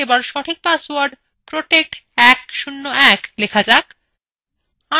password ক্ষেত্রএ এবার সঠিক পাসওয়ার্ড protect101 লেখা যাক